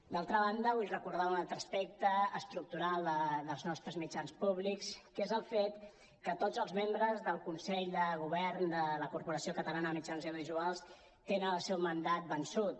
d’altra banda vull recordar un altre aspecte estructural dels nostres mitjans públics que és el fet que tots els membres del consell de govern de la corporació catalana de mitjans audiovisuals tenen el seu mandat vençut